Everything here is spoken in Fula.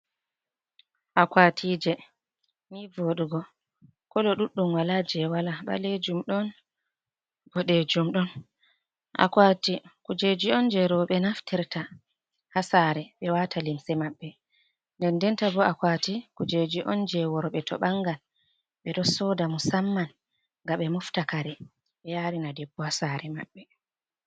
Akuwatije ni vodugo ,kolo ɗuɗɗum wala jey wala ɓaleejum ,ɗon boɗeejum. Akuwati kujeji on jey rowɓe naftirta haa saare ɓe waata limse mabɓe .Dendenta bo akwati kujeji on jey worɓe to ɓangan ɓe ɗo sooda ,musamman ngam ɓe mofta kare ɓe yaarina debbo haa saare maɓɓe.